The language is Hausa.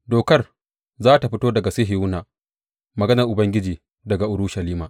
Dokar za tă fito daga Sihiyona, maganar Ubangiji daga Urushalima.